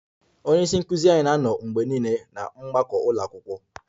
Onye isi nkụzi anyị na-anọ mgbe niile na mgbakọ ụlọ akwụkwọ